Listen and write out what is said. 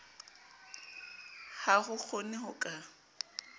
ha ho kgonehe ho ka